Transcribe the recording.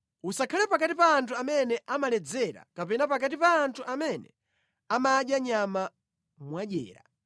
Usakhale pakati pa anthu amene amaledzera kapena pakati pa anthu amene amadya nyama mwadyera.